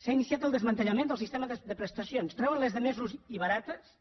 s’ha iniciat el desmantellament del sistema de prestacions treuen les de més ús i barates